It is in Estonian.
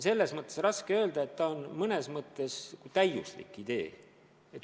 Selles mõttes raske öelda, et mõnes mõttes on see täiuslik idee.